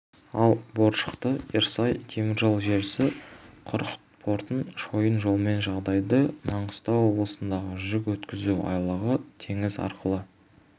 ал боржақты-ерсай теміржол желісі құрық портын шойын жолмен жалғайды маңғыстау облысындағы жүк өткізу айлағы теңіз арқылы